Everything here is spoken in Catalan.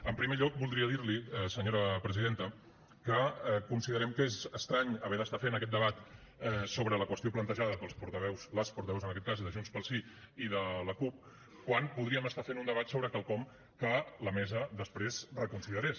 en primer lloc voldria dir li senyora presidenta que considerem que és estrany haver d’estar fent aquest debat sobre la qüestió plantejada pels portaveus les portaveus en aquest cas de junts pel sí i de la cup quan podríem estar fent un debat sobre quelcom que la mesa després reconsiderés